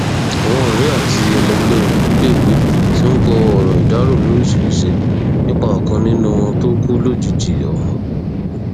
àwọn ọrẹ àti ẹlẹgbẹ rẹ níléèwé ti ń kọ ọrọ ìdárò lóríṣìíríṣìí nípa ọkan nínú wọn tó kú lójijì ọhún